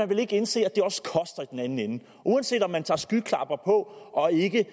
vil indse at den anden ende uanset om man tager skyklapper på og ikke